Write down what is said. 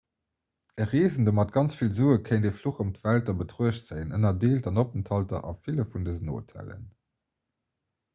e reesende mat ganz vill sue kéint e fluch ëm d'welt a betruecht zéien ënnerdeelt an openthalter a ville vun dësen hotellen